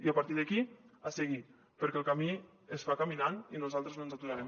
i a partir d’aquí a seguir perquè el camí es fa caminant i nosaltres no ens aturarem